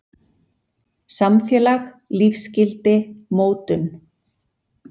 Samfélag- lífsgildi- mótun.